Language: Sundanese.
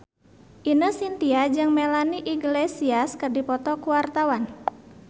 Ine Shintya jeung Melanie Iglesias keur dipoto ku wartawan